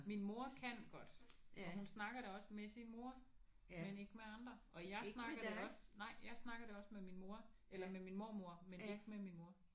Min mor kan godt og hun snakker det også med sin mor men ikke med andre. Og jeg snakker det også nej jeg snakker det også med min mor eller med min mormor men ikke med min mor